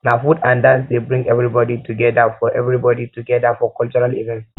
na food and dance dey bring everybody togedir for everybody togedir for cultural events